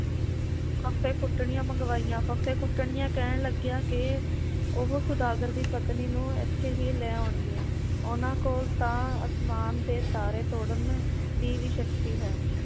ਫੱਫੇ ਕੁੱਟਣੀਆਂ ਮੰਗਵਾਈਆਂ ਫੱਫੇ ਕੁਟਣੀਆਂ ਕਹਿਣ ਲੱਗੀਆਂ ਕਿ ਉਹ ਸੌਦਾਗਰ ਦੀ ਪਤਨੀ ਨੂੰ ਇਥੇ ਹੀ ਲੈ ਆਉਣਗੀਆਂ, ਉਹਨਾਂ ਕੋਲ ਤਾਂ ਅਸਮਾਨ ਦੇ ਤਾਰੇ ਤੋੜਨ ਦੀ ਵੀ ਸ਼ਕਤੀ ਹੈ